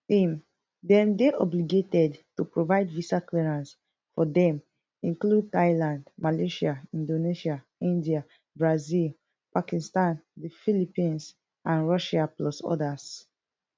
im dem dey obligated to provide visa clearance for dem include thailand malaysia inAcceptedsia india brazil pakistan the philippines and russia plus odas